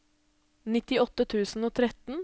nittiåtte tusen og tretten